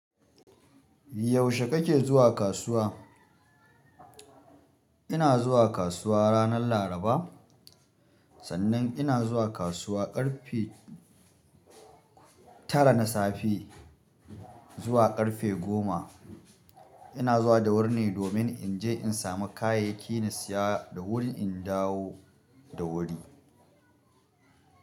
Yaushe kake zuwa kasuwa? Ina zuwa kasuwa ranar Laraba, sannan ina zuwa kasuwa ƙarfe tara na safe zuwa ƙarfe goma. Ina zuwa da wuri ne domin in je in samu kayayyaki na saya da wuri in dawo da wuri.